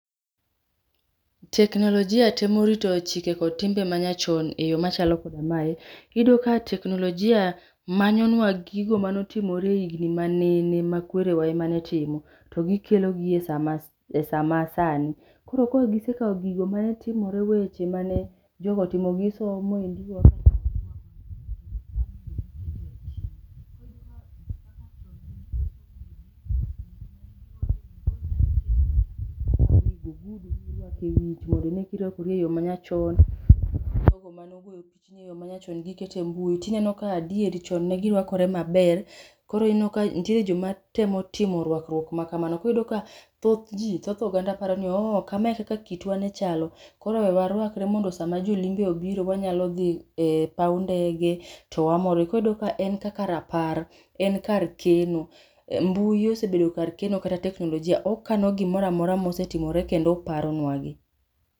Teknolojia temo rito chike kod timbe ma nyachon e yoo machalo koda mae. Iyudo ka teknolojia manyonwa gigo man eotimore ndalo ma nene mane kwerewa ema timo to kelonwa e sama sani. Koro ka gisekao gigo matimore, wech emane jogo timo, gisomo tineno ka adieri chon negirwakore maber koro ineno ka nitiere joma temo timo rwakruok makamano koro ineno ka thoth jii, thoth oganda paroni ooh, kamae ekaka kitwa ne chalo. Koro we arwakra mondo sama jolimbe obiro wanyalo dhi e paw ndege to wamor. Koro iyudo ka en kaka rapar, en kar kendo. Mbui osebedo kar keno kata teknolojia, okano gimoro amora mosetimore kendo oparonwa gi.